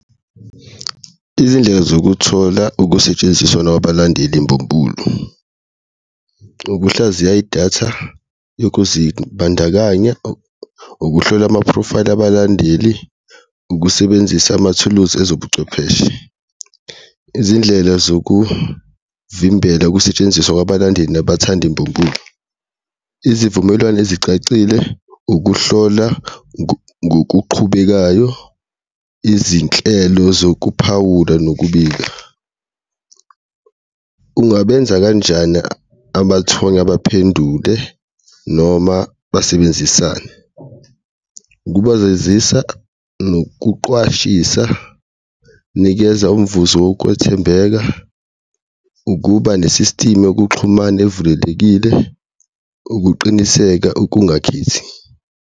Izindlela zokuthola ukusetshenziswana kwabalandeli mbumbulu, ukuhlaziya idatha yokuzibandakanya, ukuhlola amaphrofayili abalandeli, ukusebenzisa amathuluzi ezobuchwepheshe. Izindlela zokuvimbela ukusetshenziswa kwabalandeli nabathandi mbumbulu, uzivumelwane ezicacile, ukuhlola ngokuqhubekayo, izinhlelo zokuphawula nokubika. Ungabenza kanjani amathonya baphendule noma basebenzisane? Ngokubekezisa, nokuqwashisa, nikeza umvuzo wokwethembeka, ukuba ne-system yokuxhumana evulelekile, ukuqiniseka ukungakhethi.